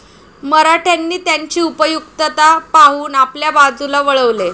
मराठ्यांनी त्यांची उपयुक्तता पाहून आपल्या बाजूला वळवले.